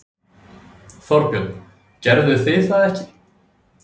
Þorbjörn: Gerðuð þið það ekki?